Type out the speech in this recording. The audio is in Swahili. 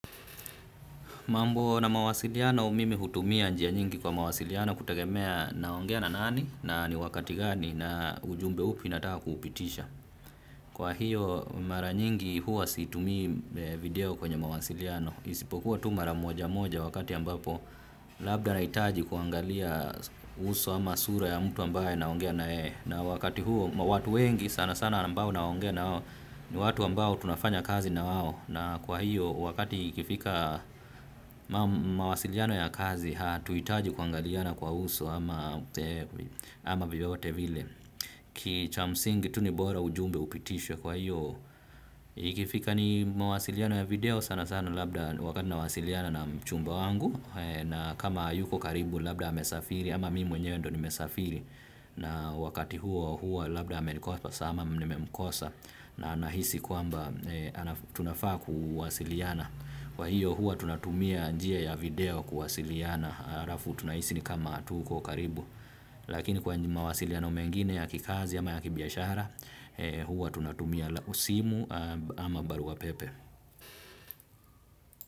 Mambo na mawasiliano mimi hutumia njia nyingi kwa mawasiliano kutegemea naongea na nani na ni wakati gani na ujumbe upi nataka kupitisha. Kwa hiyo mara nyingi huwa situmi video kwenye mawasiliano. Isipokuwa tu mara moja moja wakati ambapo labda nahitaji kuangalia uso ama sura ya mtu ambaye naongea na yeye. Na wakati huo watu wengi sana sana ambao naongea nao ni watu ambao tunafanya kazi na wao. Na kwa hiyo wakati ikifika mawasiliano ya kazi hatuhitaji kuangaliana kwa uso ama ama vyovyote vile ki cha msingi tu ni bora ujumbe upitishwe kwa hiyo ikifika ni mawasiliano ya video sana sana labda wakati nawasiliana na mchumba wangu na kama hayuko karibu labda amesafiri ama mimi mwenyewe ndio nimesafiri na wakati huo huo labda amenikosa sana ama nimemkosa na nahisi kwamba tunafaa kuwasiliana kwa hiyo huwa tunatumia njia ya video kuwasiliana. Alafu tunahisi ni kama tuko karibu lakini kwa mawasiliano mengine ya kikazi ama ya kibiashara hua tunatumia simu ama barua pepe.